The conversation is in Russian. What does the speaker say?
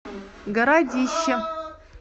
городище